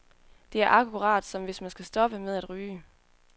Det er akkurat som, hvis man skal stoppe med at ryge.